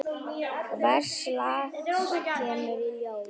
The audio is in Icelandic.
Hvers lags kemur í ljós.